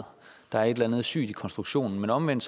der er et eller andet sygt i konstruktionen men omvendt